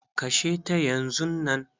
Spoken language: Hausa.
Kashe ta yanzunnan.